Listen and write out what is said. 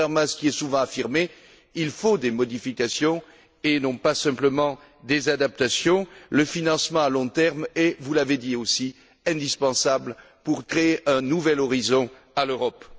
Et contrairement à ce qui est souvent affirmé, il faut des modifications, et non pas simplement des adaptations. Le financement à long terme est, vous l'avez dit aussi, indispensable pour créer un nouvel horizon à l'Europe.